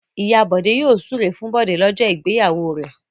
Ìyá Bọ̀dé yóò súre fún Bọ̀dé lọ́jọ́ ìgbéyàwó rẹ̀.